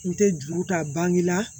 N tɛ juru ta bangila